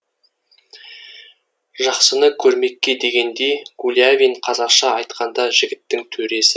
жақсыны көрмекке дегендей гулявин қазақша айтқанда жігіттің төресі